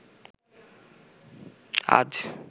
আজ